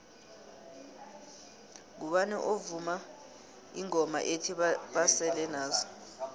ngubani ovuma ingoma ethi basele nazo